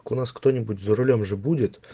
у нас кто-нибудь за рулём же будет